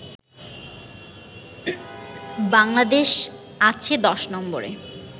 বাংলাদেশ আছে ১০ নম্বরে